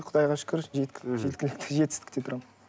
құдайға шүкір жеткілікті жетістікте тұрамын